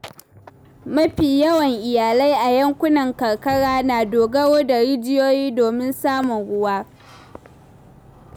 Mafi yawan iyalai a yankunan karkara na dogaro da rijiyoyi domin samun ruwa.